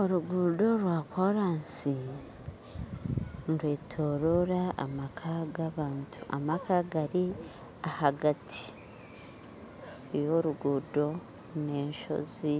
Oruguuto rwakoraasi nirwetorora amaka g'abantu amaka gari ahagati yoruguuto n'enshozi